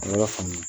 Ala y'a faamu